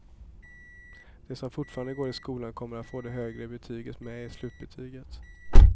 De som fortfarande går i skolan kommer att få det högre betyget med i slutbetyget.